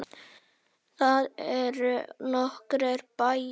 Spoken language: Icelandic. Þar eru nokkrir bæir.